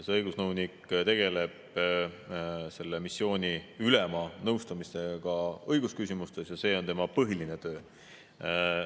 See õigusnõunik tegeleb selle missiooni ülema nõustamisega õigusküsimustes ja see on tema põhiline töö.